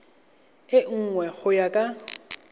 e nngwe go ya ka